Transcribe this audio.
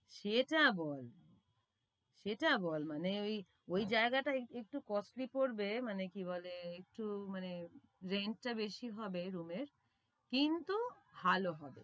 সেটা বল সেটা বল মানে ওই ওই জায়গাটা একটু costly পরবে মানে কি বলে, একটু মানে range টা বেশি হবে room এর কিন্তু ভালো হবে।